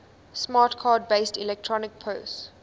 smart card based electronic purse